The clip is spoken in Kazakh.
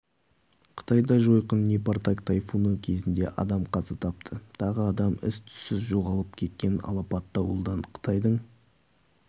қытайда жойқын непартак тайфуны кезінде адам қаза тапты тағы адам із-түзсіз жоғалып кеткен алапат дауылдан қытайдың